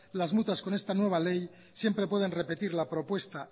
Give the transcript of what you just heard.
las mutuas con esta nueva ley siempre pueden repetir la propuesta